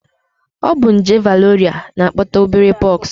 Ọ bụ nje variọla na-akpata obere pox